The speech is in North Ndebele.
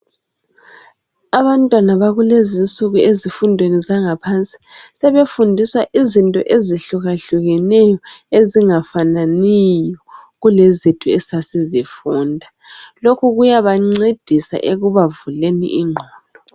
Abantwana bakulezi insuku ezifundweni zangaphansi sebefundiswa izinto ezihlukahlukeneyo ezingafananiyo kulezethu esasizifunda. Lokhu kuyabancedisa ekubavuleni ingqondo.